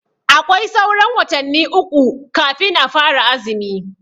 Aƙwai sauran watanni uƙu kafin a fara azumi.